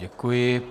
Děkuji.